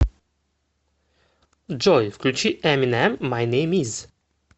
джой включи эминэм май нэйм из